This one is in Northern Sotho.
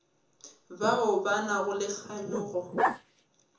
bao ba nago le kganyogo